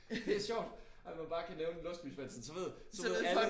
Det sjovt at man bare kan nævne Låsby-Svendsen så ved så ved alle